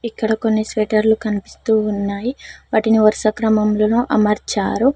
ఇక్కడ కొన్ని స్వేటర్లు కనిపిస్తూ ఉన్నాయి వాటిని వరుస క్రమంలోనూ అమర్చారు.